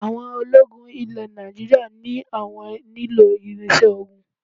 Àwọn ológun ilẹ̀ Nàìjíríà ní àwọn nílò irinṣẹ́ ogun